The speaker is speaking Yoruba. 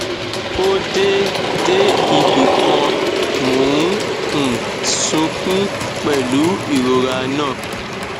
ó dé dé ibì kan mò ń um sunkún pẹlú ìrora náà